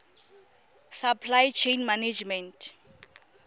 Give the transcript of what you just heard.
supply chain management